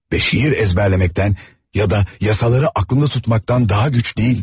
Və şeir əzbərləməkdən ya da yasaları aklında tutmaqdan daha güc deyilidi.